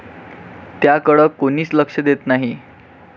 त्याकडं कोणीच लक्ष देत नाही.